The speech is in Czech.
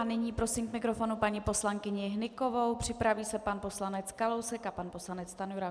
A nyní prosím k mikrofonu paní poslankyni Hnykovou, připraví se pan poslanec Kalousek a pan poslanec Stanjura.